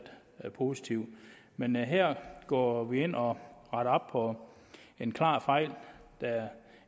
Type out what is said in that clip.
positivt men her går vi ind og retter op på en klar fejl der